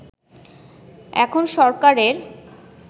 এখন সরকারের